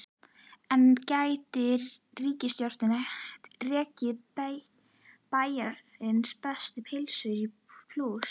En gæti ríkisstjórnin rekið Bæjarins bestu pylsur í plús?